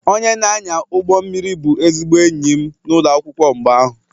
Onye na-anya ụgbọ mmiri bụ ezigbo enyi m n'ụlọ akwụkwọ mgbe ahụ